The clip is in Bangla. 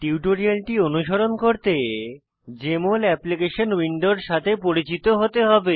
টিউটোরিয়ালটি অনুসরণ করতে জেএমএল অ্যাপ্লিকেশন উইন্ডোর সাথে পরিচিত হতে হবে